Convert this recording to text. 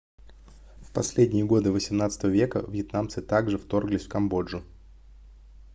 в последние годы xviii века вьетнамцы также вторглись в камбоджу